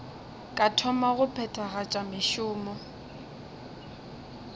ka thoma go phethagatša mešomo